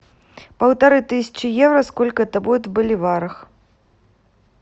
полторы тысячи евро сколько это будет в боливарах